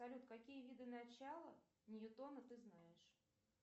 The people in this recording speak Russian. салют какие виды начала ньютона ты знаешь